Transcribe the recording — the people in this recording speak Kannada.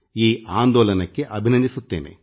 ಈ ಆಂದೋಲನಕ್ಕೆ ಅಭಿನಂದಿಸುತ್ತೇನೆ